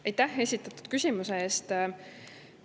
Aitäh esitatud küsimuse eest!